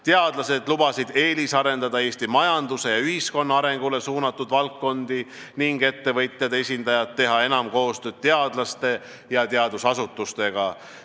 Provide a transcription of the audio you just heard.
Teadlased lubasid eelisarendada Eesti majanduse ja ühiskonna arengule suunatud valdkondi ning ettevõtjate esindajad teha enam koostööd teadlaste ja teadusasutustega.